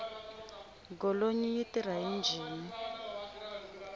golonyi yi tirha hi njhini